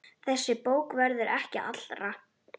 Þessi bók verður ekki allra.